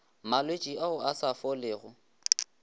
malwetši ao a sa folego